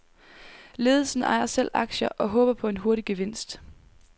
Ledelsen ejer selv aktier og håber på en hurtig gevinst.